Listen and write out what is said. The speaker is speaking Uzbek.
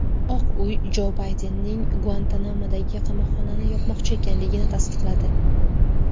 Oq uy Jo Baydenning Guantanamodagi qamoqxonani yopmoqchi ekanligini tasdiqladi.